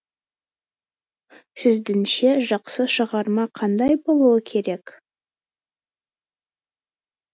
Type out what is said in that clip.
сіздіңше жақсы шығарма қандай болуы керек